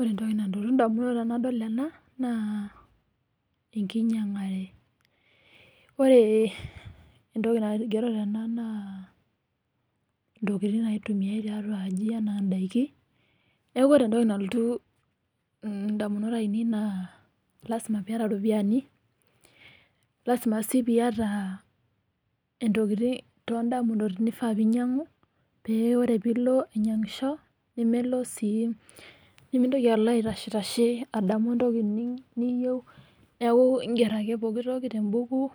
Ore etoki nalotu ndamunot tenadol ena naa, ekinyangare. Ore etoki naigero tena naa, intokitin naitumiae tiatua aji enaa indaiki . Neaku ore etoki nalotu ndamunot ainei naa, lasima pee iyata iropiyani lasima sii pee iyata intokitin todamunot naifaa pee inyangu, pee ore pee ilo ainyangisho nemelo sii, nimitoki alo aitashetashe adamu etoki niyieu. Neaku iger ake poki toki te buku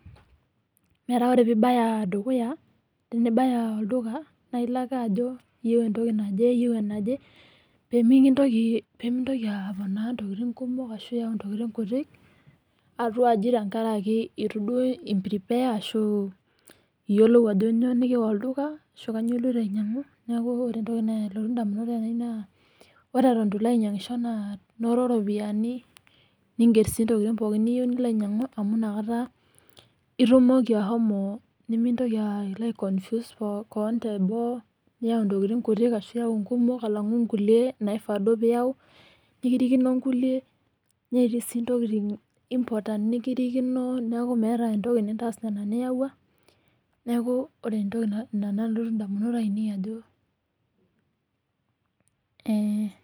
metaa ore pee ibaya dukuya tenibaya olduka, naa ilo ake ajo iyieu etoki naje iyieu enaje pee mitoki aponaa intokitin kumok ashu, pee miyau intokitin kutik atua aji te nkaraki itu duo i prepare ashu, iyiolou ajo kainyioo nikiwa olduka ashu, kainyioo iloito ainyiangu. Neaku ore etoki nalotu indamunot ainei naa, ore eton itu Ilo ainyangisho naa, noto ropiyani, niger sii intokitin pooki niyieu nilo ainyiangu amu inakata, itumoki ashomo nimitoki alo ai confuse kewon te boo niyau tokitin kumok ashu, kutik alangu kulie naifaa duo niyau. Nikirikino kulie netii sii intokitin important nikirikino neaku, meeta etoki nitaas nena niyawua . Neaku ore etoki ina nalotu indamunot ainei ajo eh.